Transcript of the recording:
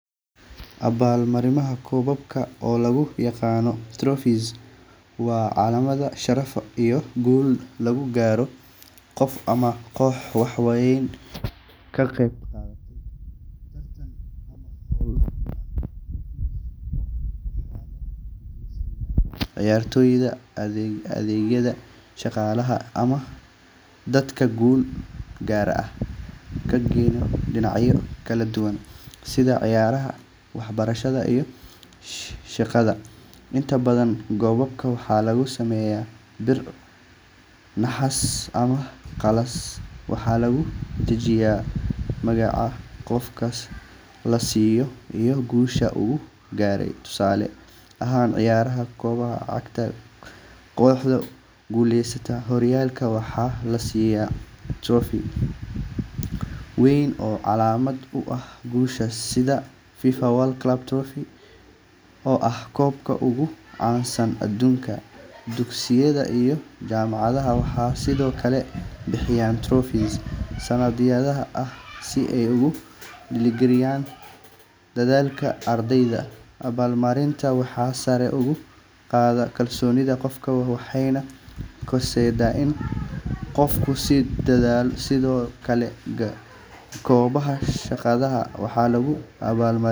Abaalmarinta koobabka, oo loo yaqaan trophies, waa calaamad sharaf iyo guul lagu garto qof ama koox wax weyn ka qabatay tartan ama hawl muhiim ah. Trophies waxaa la guddoonsiiyaa cayaartoyda, ardayda, shaqaalaha, ama dadka guulo gaar ah ka gaadhay dhinacyo kala duwan sida ciyaaraha, waxbarashada, iyo shaqada. Inta badan koobabka waxaa laga sameeyaa bir, naxaas, ama galaas waxaana lagu dhejiyaa magaca qofka la siiyay iyo guusha uu gaaray. Tusaale ahaan, ciyaaraha kubadda cagta, kooxda ku guuleysata horyaalka waxaa la siiyaa trophy weyn oo calaamad u ah guushaas, sida FIFA World Cup Trophy oo ah koobka ugu caansan adduunka. Dugsiyada iyo jaamacadaha waxay sidoo kale bixiyaan trophies sanadlaha ah si ay u dhiirrigeliyaan dadaalka ardayda. Abaalmarintan waxay sare u qaaddaa kalsoonida qofka waxayna horseeddaa in qofku sii dadaalo. Sidoo kale, goobaha shaqada waxaa lagu abaalmariyaa.